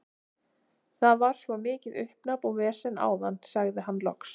Það var svo mikið uppnám og vesen áðan, sagði hann loks.